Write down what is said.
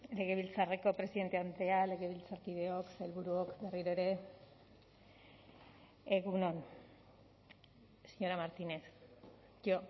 legebiltzarreko presidente andrea legebiltzarkideok sailburuok berriro ere egun on señora martínez yo